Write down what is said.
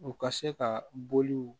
U ka se ka bɔliw